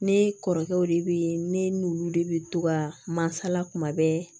Ne kɔrɔkɛw de be yen ne n'olu de bi to ka masala kuma bɛɛ